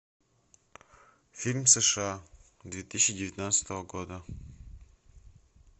фильм сша две тысячи девятнадцатого года